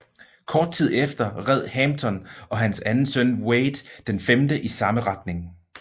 Kort tid efter red Hampton og hans anden søn Wade IV i samme retning